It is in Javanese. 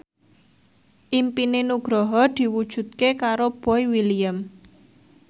impine Nugroho diwujudke karo Boy William